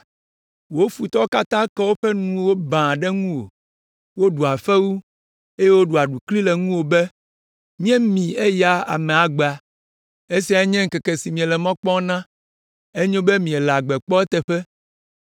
Wò futɔwo katã ke woƒe nuwo baa ɖe ŋuwò, woɖua fewu eye woɖua aɖukli ɖe ŋuwò be, “Míemi eya amea agbagbe. Esiae nye ŋkeke si míele mɔ kpɔm na, enyo be míele agbe kpɔ eteƒe.”